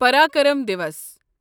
Parakram Diwas